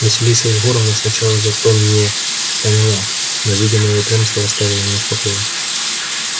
василиса егоровна сначала за то мне поняла но видя моё упрямство оставила меня в покое